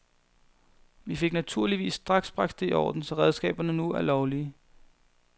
Vi fik naturligvis straks bragt det i orden, så redskaberne nu er lovlige.